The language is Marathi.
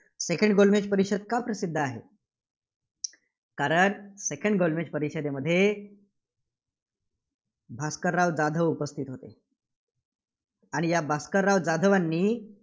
Second गोलमेज परिषद का प्रसिद्ध आहे? कारण second गोलमेज परिषदेमध्ये भास्करराव जाधव उपस्थितीत होते. आणि या भास्करराव जाधव यांनी